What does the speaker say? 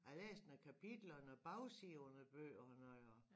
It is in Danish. Jeg har læst noget kapitler og noget bagside på noget bøger og noget og